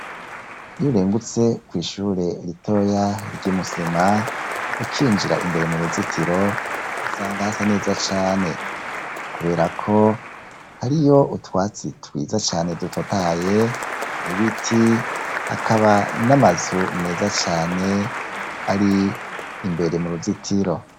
Iyo urengutse kwishure ritoya ryi Musema ukinjira imbere mu ruzitiro usanga hasa neza cane, kuberako hariyo utwatsi twiza cane dutotaye n'ibiti hakaba n'amazu meza cane ari imbere mu ruzitiro.